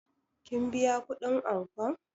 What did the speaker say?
Kin biya kuɗin ankon?